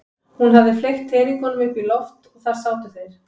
Hún hafði fleygt teningunum upp í loft og þar sátu þeir.